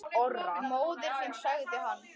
Móðir þín sagði hann.